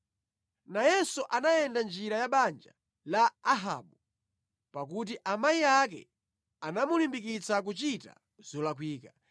Nayenso anayenda mʼnjira ya banja la Ahabu, pakuti amayi ake anamulimbikitsa kuchita zolakwika.